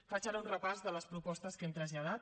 faig ara un repàs de les propostes que hem traslladat